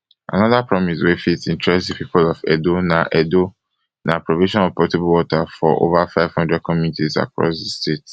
anoda promise wey fit interest di pipo of edo na edo na provision of potable water for ova five hundred communities across di state